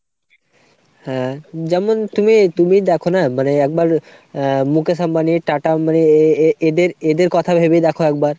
হ্যাঁ যেমন তুমি তুমিই দ্যাখোনা মানে একবার আ Mukesh Ambani, TATA Ambani এ এ এদের এদের কথা ভেবেই দ্যাখো একবার।